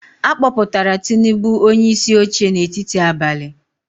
A kpọpụtara Tinubu onyeisi oche n’etiti abalị.